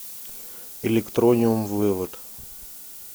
электрониум вывод